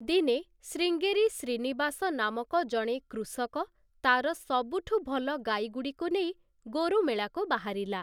ଦିନେ, ଶ୍ରୀଙ୍ଗେରୀ ଶ୍ରୀନିବାସ ନାମକ ଜଣେ କୃଷକ ତା'ର ସବଠୁ ଭଲ ଗାଈଗୁଡ଼ିକୁ ନେଇ ଗୋରୁ ମେଳାକୁ ବାହାରିଲା ।